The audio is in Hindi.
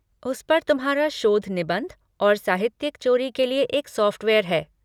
उस पर तुम्हारा शोध निबंध और साहित्यिक चोरी के लिए एक सॉफ़्टवेयर है।